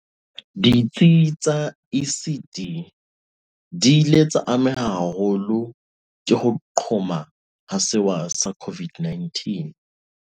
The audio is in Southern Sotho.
Ditsi tsa ECD di ile tsa ameha haholo ke ho qhoma ha sewa sa COVID-19.